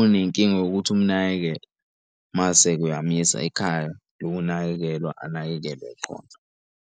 unenkinga yokuthi umnakekele, mase ke uyamyisa ekhaya lokunakekelwa anakekelwe.